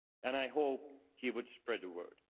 I hoped he would spread the word.